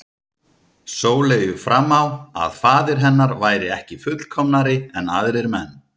Sóleyju fram á að faðir hennar væri ekki fullkomnari en aðrir menn.